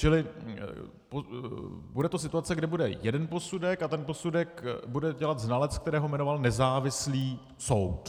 Čili bude to situace, kdy bude jeden posudek a ten posudek bude dělat znalec, kterého jmenoval nezávislý soud.